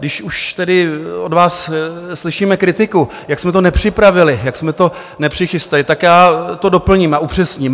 Když už tady od vás slyšíme kritiku, jak jsme to nepřipravili, jak jsme to nepřichystali, tak já to doplním a upřesním.